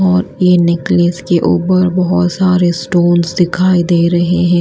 और ये नेकलेस के ऊपर बहुत सारे स्टोन्स दिखाई दे रहे हैं।